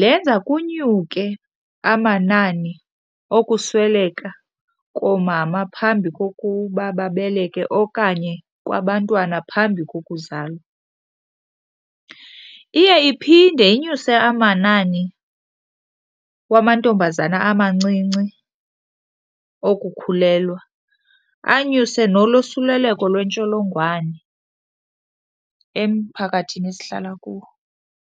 lenza kunyuke amanani okusweleka koomama phambi kokuba babeleke okanye kwabantwana phambi kokuzalwa. Iye iphinde inyuse amanani wamantombazana amancinci okukhulelwa, anyuse nolosuleleko lwentsholongwane emphakathini esihlala kuwo.